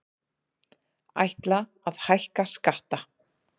Ætla að hækka skatta